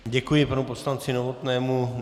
Děkuji panu poslanci Novotnému.